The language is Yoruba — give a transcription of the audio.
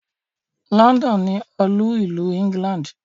London ni olú-ìlú England.